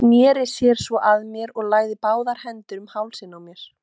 Sneri sér svo að mér og lagði báðar hendur um hálsinn á mér.